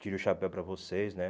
Tiro o chapéu para vocês, né?